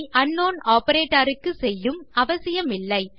அதை அங்க்னவுன் ஆப்பரேட்டர் க்கு செய்யும் அவசியமில்லை